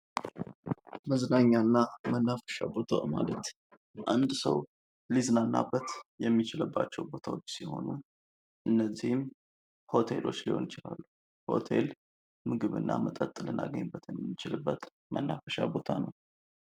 መዝናኛና መናፈሻ ቦታ ማለት አንድ ሰው ሊዝናናበት የሚችልባቸው ቦታዎች ሲሆኑ እነዚህም ሆቴሎች ሊሆኑ ይችላሉ። ሆቴል ምግብ እና መጠጥ ልናገኝበት የምንችልበት መናፈሻ ነው።